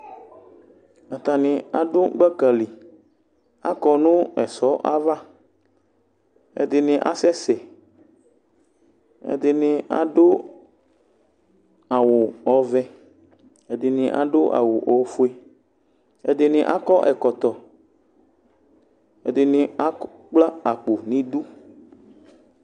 Atani adʋ gbaka liAkɔ nʋ ɛsɔ'avaƐdini asɛsɛƐɖini adʋ awu ɔvɛƐdini adʋ awu ofueƐdini akɔ ɛkɔtɔ Ɛdini akpla akpo nidu